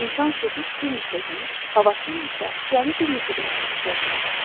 İnsan susuz bir neçə gün, havasız isə cəmi bir neçə dəqiqə yaşaya bilər.